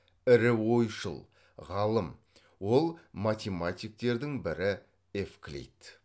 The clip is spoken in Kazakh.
ірі ойшыл ғалым ол математиктердің бірі евклид